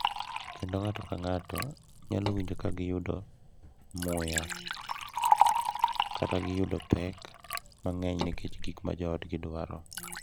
Kendo ng’ato ka ng’ato nyalo winjo ka giyudo ka giyudo muya kata ka giyudo pek mang’eny nikech gik ma joodgi dwaro.